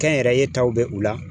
Kɛnyɛrɛye taw bɛ u la.